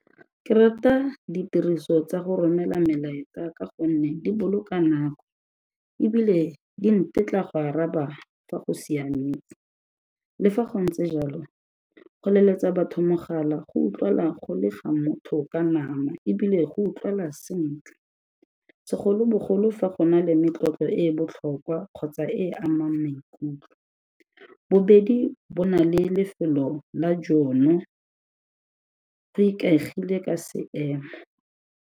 Ke rata ditiriso tsa go romela melaetsa ka gonne di boloka nako ebile di ntetla go araba fa go siametse. Le fa go ntse jalo go leletsa batho mogala go utlwa'la go le ga motho ka nama ebile go utlwa'la sentle segolobogolo fa go na le metlotlo e e botlhokwa kgotsa e amang maikutlo, bobedi bo na le lefelo la jono go ikaegile ka seemo.